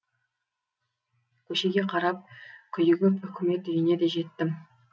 көшеге қарап күйігіп үкімет үйіне де жеттім